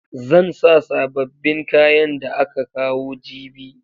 Zan sa sababbin kayan da aka kawo jibi.